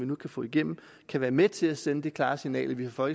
nu kan få igennem kan være med til at sende det klare signal at vi fra